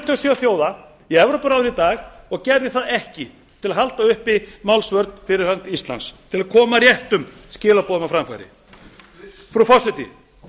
og sjö þjóða í evrópuráði í dag og gerði það ekki til að halda uppi málsvörn fyrir hönd íslands til að koma réttum skilaboðum á framfæri frú forseti